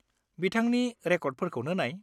बिथांनि रेकर्डफोरखौनो नाय।